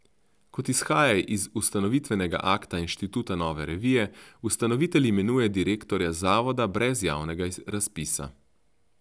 Kot izhaja iz ustanovitvenega akta Inštituta Nove revije, ustanovitelj imenuje direktorja zavoda brez javnega razpisa.